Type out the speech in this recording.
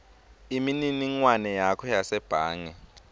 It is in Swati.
imininingwane yakho yasebhange